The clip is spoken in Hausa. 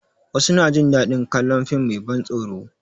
Wasu na jin daɗin kalon fim mai ban tsoro